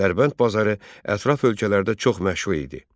Dərbənd bazarı ətraf ölkələrdə çox məşhur idi.